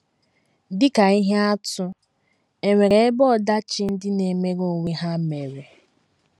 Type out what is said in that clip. Dị ka ihe atụ, è nwere ebe ọdachi ndị na - emere onwe ha mere?